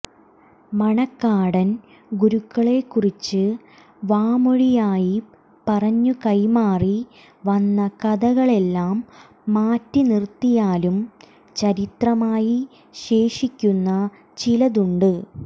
മണക്കാടൻ ഗുരുക്കളെക്കുറിച്ച് വാമൊഴിയായി പറഞ്ഞു കൈമാറി വന്ന കഥകളെല്ലാം മാറ്റിനിർത്തിയാലും ചരിത്രമായി ശേഷിക്കുന്ന ചിലതുണ്ട്